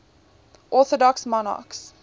orthodox monarchs